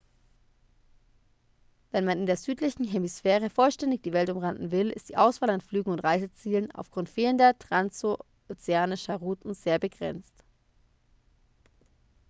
wenn man in der südlichen hemisphäre vollständig die welt umrunden will ist die auswahl an flügen und reisezielen aufgrund fehlender transozeanischer routen sehr begrenzt